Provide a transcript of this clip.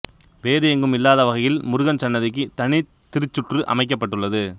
வேறு எங்கும் இல்லாத வகையில் முருகன் சன்னதிக்கு தனி திருச்சுற்று அமைக்கப்பட்டுள்ளது